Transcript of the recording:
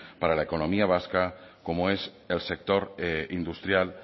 para la economía vasca como es el sector industrial